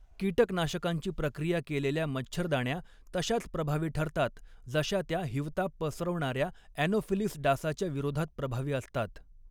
कीटकनाशकांची प्रक्रिया केलेल्या मच्छरदाण्या तशाच प्रभावी ठरतात जशा त्या हिवताप पसरवणाऱ्या ॲनोफिलीस डासाच्या विरोधात प्रभावी असतात.